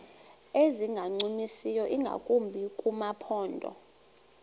ezingancumisiyo ingakumbi kumaphondo